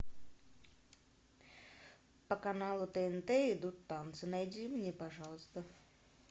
по каналу тнт идут танцы найди мне пожалуйста